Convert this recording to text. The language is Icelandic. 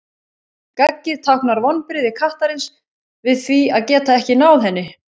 gaggið táknar vonbrigði kattarins við því að geta ekki náð henni